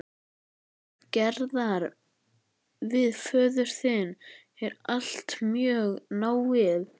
Samband Gerðar við föður sinn er alltaf mjög náið.